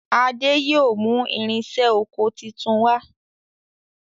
Ade yóò mú irinṣẹ́ okò títún wá.